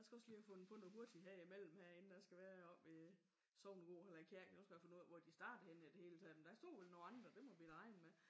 Jeg skal også lige have fundet på noget hurtigt her imellem her inden jeg skal være oppe i sognegården eller kirken. Jeg skal finde ud af hvor det starter henne i det hele taget. Men der stod jo nogle andre. Det må vi da regne med